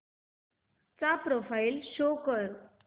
चा profile show कर